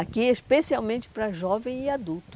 Aqui é especialmente para jovem e adulto.